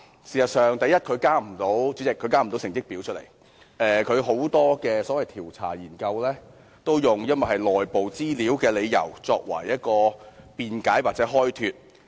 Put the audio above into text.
主席，第一，它事實上交不出成績，很多調查研究都以屬內部資料為由來辯解或開脫。